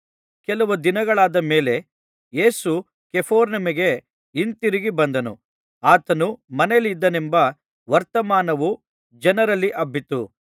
ಕೆಲವು ದಿನಗಳಾದ ಮೇಲೆ ಯೇಸು ಕಪೆರ್ನೌಮಿಗೆ ಹಿಂತಿರುಗಿ ಬಂದನು ಆತನು ಮನೆಯಲ್ಲಿದ್ದಾನೆಂಬ ವರ್ತಮಾನವು ಜನರಲ್ಲಿ ಹಬ್ಬಿತ್ತು